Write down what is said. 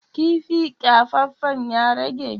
kifi kyafaffen ya rage?